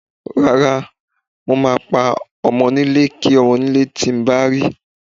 Rárá, mo máa pa ọmọnílé kí ọmọnílé tí mo bá rí.